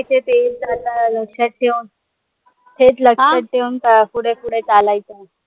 लक्षात ठेऊन थेट लक्षात ठेऊन पुढे पुढे चालायच